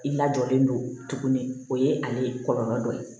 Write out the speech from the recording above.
I lajɔlen don tuguni o ye ale kɔlɔlɔ dɔ ye